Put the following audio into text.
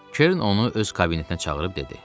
Kern onu öz kabinetinə çağırıb dedi.